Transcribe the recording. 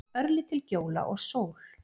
Örlítil gjóla og sól.